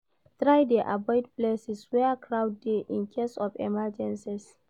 Try de avoid places where crowd de in case of emergencies